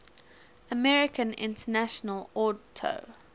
american international auto